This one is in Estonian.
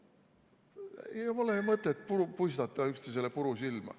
Ei ole mõtet puistata üksteisele puru silma.